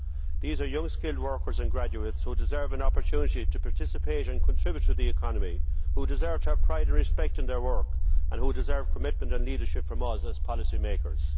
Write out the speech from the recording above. These are young, skilled workers and graduates who deserve an opportunity to participate and contribute to the economy, who deserve to have pride and respect in their work and who deserve commitment and leadership from us as policymakers.